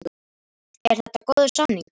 Er þetta góður samningur?